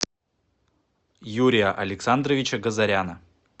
юрия александровича газаряна